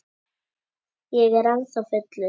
Ég er ennþá fullur.